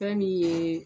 Fɛn min ye